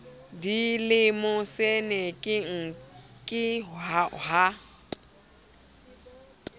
di le mosenekeng ke ha